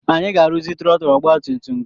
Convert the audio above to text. Anyị ga-arụzi trọtụl ọgbatumtum gị.